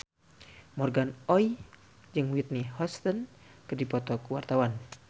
Morgan Oey jeung Whitney Houston keur dipoto ku wartawan